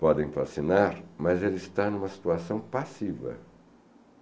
podem fascinar, mas ele está em uma situação passiva.